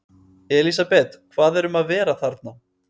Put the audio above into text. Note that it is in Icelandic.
Elísabet, hvað er um að vera þarna?